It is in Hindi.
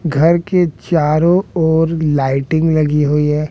घर के चारों ओर लाइटिंग लगी हुई है।